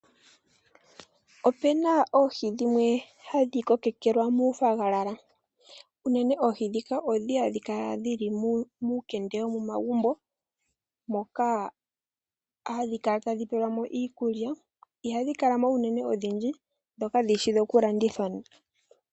Opena oohi dhimwe hadhi kokekelwa muu fagalalala. Unene oohi dhika odhi hadhi kala dhili muukende womomagumbo, moka hadhi kala tadhi pelwamo iikulya, ihadhi kala mo unene odhindji, dho kadhi shi dhoku landithwa.